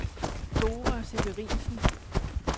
Dora Severinsen